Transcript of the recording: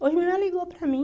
Hoje mesmo ela ligou para mim.